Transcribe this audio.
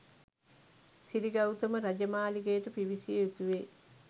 සිරිගෞතම රාජමාලිගයට පිවිසිය යුතුවේ